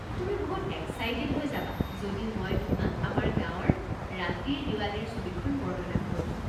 তুমি বহুত এক্সাইটেড হৈ যাবা যদি মই তোমাক আমাৰ গাঁৱৰ ৰাতিৰ দিৱালীৰ ছবিখন বৰ্ণনা কৰো।